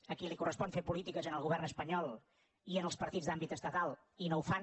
a qui li correspon fer política és al govern espanyol i als partits d’àmbit estatal i no ho fan